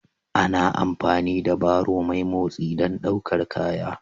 Ana amfani da barrow mai motsi don ɗaukar kaya